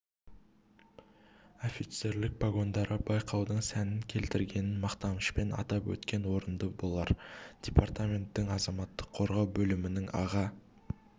офицерлік погондары байқаудың сәнін келтіргенін мақтанышпен атап өткен орынды болар департаменттің азаматтық қорғау бөлімінің аға